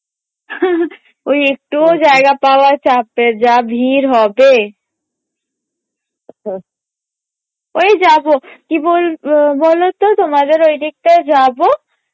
ওই একটুও জায়গা পাওয়া চাপের যা ভীড় হবে ওই যাবো কি বল~ বলতো তোমাদের ঐদিকটায় যাবো